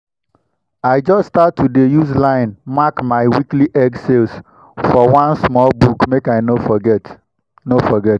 i just start to dey use line mark my weekly egg sales for one small book make i no forget. no forget.